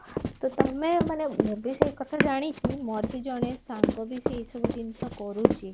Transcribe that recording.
ତ ତମେ ମାନ ମୁଁ ବି ସେଇ କଥା ଜାଣିଛି ମୋର ବି ଜଣେ ସାଙ୍ଗ ବି ସେ ଏଇ ସବୁ ଜିନିଷ କରୁଚି